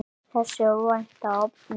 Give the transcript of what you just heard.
Þessi óvænta opnun